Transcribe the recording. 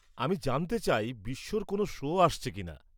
আমি জানতে চাই বিশ্বর কোনও শো আসছে কিনা।